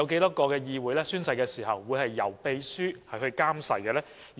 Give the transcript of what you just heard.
有多少議會在進行宣誓時由秘書監誓？